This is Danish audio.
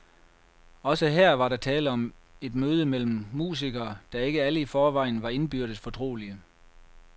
Også her var der tale om et møde mellem musikere, der ikke alle i forvejen var indbyrdes fortrolige.